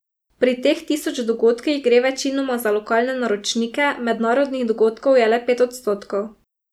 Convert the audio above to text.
Pri teh tisoč dogodkih gre večinoma za lokalne naročnike, mednarodnih dogodkov je le pet odstotkov.